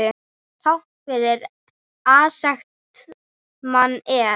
Táknið fyrir aserskt manat er.